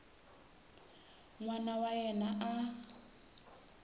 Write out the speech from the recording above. n wana wa yena a